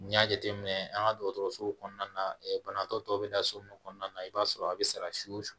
N'i y'a jateminɛ an ka dɔgɔtɔrɔsow kɔnɔna na banabaatɔ tɔw bɛ da so mun kɔnɔna na i b'a sɔrɔ a bɛ sara siw